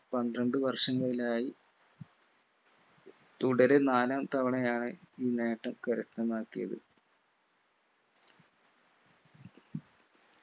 പന്ത്രണ്ട് വർഷങ്ങളിലായി തുടരെ നാലാം തവണയാണ് ഈ നേട്ടം കരസ്ഥമാക്കിയത്